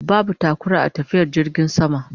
Babu taƙura a tafiyar jirgin sama